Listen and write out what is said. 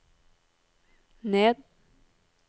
ned